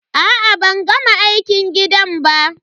A'a ban gama aikin gidan ba.